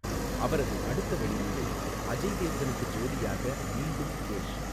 அவரது அடுத்த வெளியீடு அஜய் தேவ்கனுக்கு ஜோடியாக மீண்டும் கேஷ்.